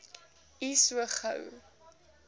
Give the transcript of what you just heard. u so gou